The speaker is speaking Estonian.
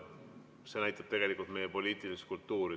See näitab tegelikult meie poliitilist kultuuri.